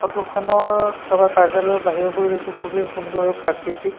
ফটোখনৰ থকা কাৰ্য্যালয়ৰ বাহিৰৰ পৰিৱেশটো খুবেই সুন্দৰ আৰু প্ৰাকৃতিক।